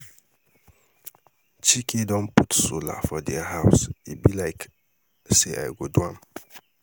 Chike don put solar for their house e be like say I go do am